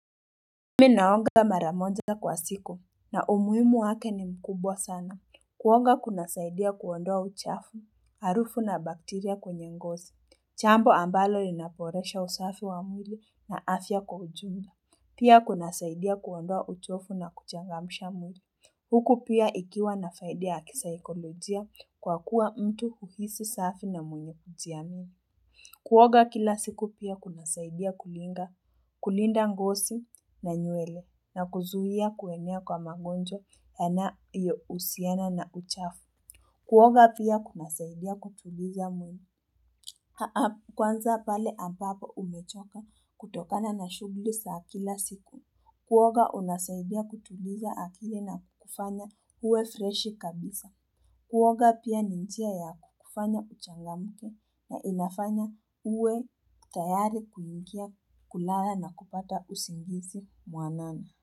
Mi naoga mara moja kwa siku na umuhimu wake ni mkubwa sana. Kuoga kunasaidia kuondoa uchafu, harufu na bakteria kwenye ngozi. Jambo ambalo inaboresha usafi wa mwili na afya kwa ujumla. Pia kunasaidia kuondoa uchovu na kuchangamsha mwili. Huku pia ikiwa na faidi ya kisaikolojia kwa kuwa mtu huhisi safi na mwenye kujiamini. Kuoga kila siku pia kunasaidia kulinga, kulinda ngozi na nywele na kuzuia kuenea kwa magonjwa yanayohusiana na uchafu. Kuoga pia kunasaidia kutuliza mwili. Kwanza pale ambapo umechoka kutokana na shughuli za kila siku. Kuoga unasaidia kutuliza akili na kufanya uwe freshi kabisa. Kuoga pia ni njia ya kukufanya uchangamke na inafanya uwe tayari kuingia kulala na kupata usingizi mwanani.